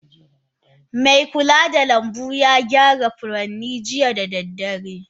Me kula da lanbu ya gyara furen jiya da dare